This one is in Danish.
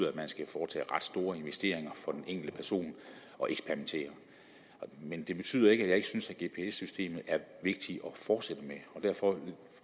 at man skal foretage ret store investeringer for den enkelte person men det betyder ikke at jeg ikke synes at gps systemet er vigtigt at fortsætte med og derfor